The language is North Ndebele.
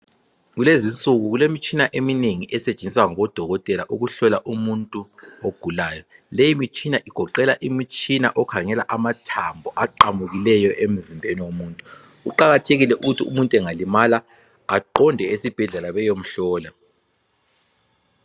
Kulezinsuku kulemitshina eminengi esetshenziswa ngodokotela ukuhlola umuntu ogulayo. Leyi mitshina igoqela umtshina okhangela amathambo aqamukileyo emzimbeni womuntu. Kuqakathekile ukuthi umuntu engalimala ehambe esibhedlela beyemhlola.